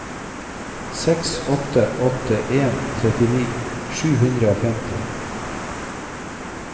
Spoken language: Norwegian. seks åtte åtte en trettini sju hundre og femti